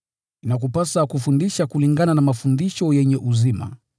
Inakupasa kufundisha itikadi sahihi.